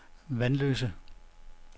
Vanløse